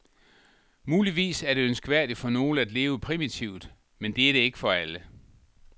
Muligvis er det ønskværdigt for nogle at leve primitivt, men det er det ikke for alle.